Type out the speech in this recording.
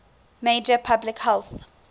major public health